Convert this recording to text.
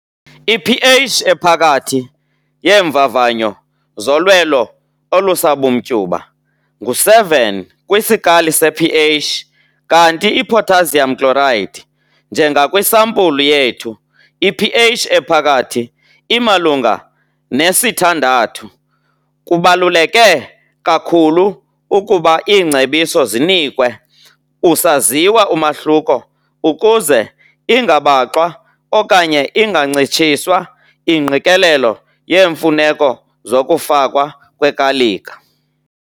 I-pH ephakathi yeemvavanyo zolwelo olusabumtyuba ngu-7 kwisikali se-pH kanti i-potassium chloride, njengakwisampulu yethu i-pH ephakathi imalunga nesi-6. Kubaluleke kakhulu ukuba iingcebiso zinikwe usaziwa umahluko ukuze ingabaxwa okanye ingancitshiswa ingqikelelo yeemfuneko zokufakwa kwekalika.